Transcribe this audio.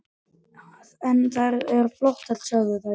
En þær eru flottar, sögðu þau.